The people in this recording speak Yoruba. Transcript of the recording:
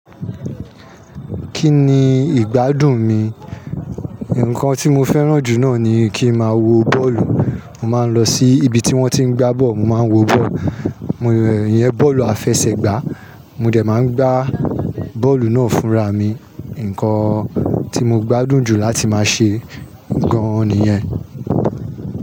Kí ni ìgbádùn mi? Ǹkan tí mo fẹ́ràn jù náà ni kí ma wo bọ́ọ̀lù. Mo máa ń lọ sí ibi tí wọ́n tí ń gbá bọ́ọ̀lù, mo máa ń wo bọ́ọ̀lù. Mo, ìyẹn bọ́ọ̀lù àfẹsẹ̀gbá. Mo dẹ̀ máa ń gbá bọ́ọ̀lù náà fúnra mi. Ǹkan tí mo gbádùn jù láti máa ṣe gan-an nìyẹn.